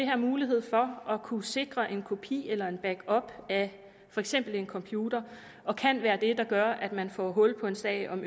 her mulighed for at kunne sikre en kopi eller en backup af for eksempel en computer og kan være det der gør at man får hul på en sag om